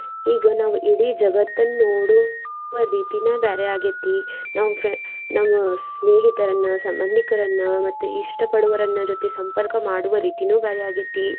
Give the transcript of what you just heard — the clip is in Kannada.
ಈಗ ನಾವ್ ಇಡೀ ಜಗತ್ತನ್ ನೋಡುವ ರೀತಿನ ಬ್ಯಾರೆ ಆಗೇತಿ ನಾವ್ ನಾವ್ ಸ್ನೇಹಿತರನ್ನ ಸಂಬಂದಿಕರನ್ನ ಮತ್ತ್ ಇಷ್ಟ ಪಡುವರನ್ನ ಜೊತೆ ಸಂಪರ್ಕ ಮಾಡುವ ರೀತೀನೇ ಬ್ಯಾರೆ ಆಗೇತಿ.